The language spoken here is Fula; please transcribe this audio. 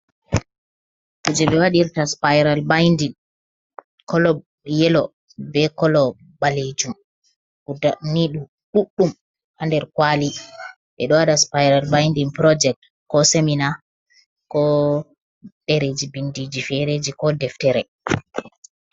Kuje ɓe waɗirta spirolbidin kolo yelo be kolo ɓalejum -guda ni ɗu ɗuɗdum ha der kwali ɓeɗo waɗa spiral binding project ko semina ko ɗereji bindiji fereji ko deftere.